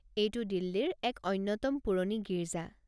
এইটো দিল্লীৰ এক অন্যতম পুৰনি গীৰ্জা।